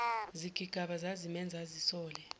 zigigaba zazimenza azisole